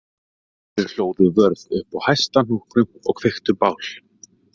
Þau hlóðu vörðu upp á hæsta hnúknum og kveiktu bál